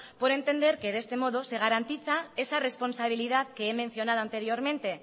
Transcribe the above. por entender que de este modo se garantiza esa responsabilidad que he mencionado anteriormente